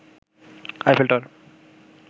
Eiffel tower